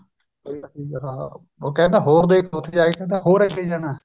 ਉਹ ਕਹਿੰਦਾ ਹੋਰ ਦੇਖ ਉਥੇ ਜਾਕੇ ਹੋਰ ਅੱਗੇ ਜਾਣਾ